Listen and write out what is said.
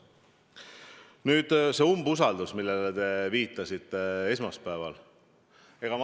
Nüüd, see umbusaldusavaldus esmaspäeval.